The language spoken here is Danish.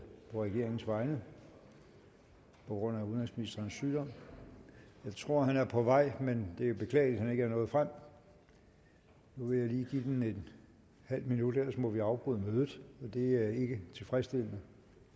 på regeringens vegne på grund af udenrigsministerens sygdom jeg tror han er på vej men det er beklageligt at han ikke er nået frem nu vil jeg lige give den en halv minut ellers må vi afbryde mødet og det er ikke tilfredsstillende